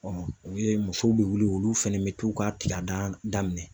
musow bɛ wuli olu fana bɛ t'u ka kilandan minɛ.